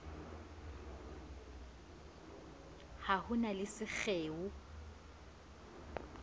a ho na le sekgeo